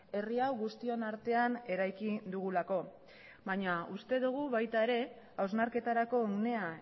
herri hau guztion artean eraiki dugulako baina uste dugu baita ere hausnarketarako unea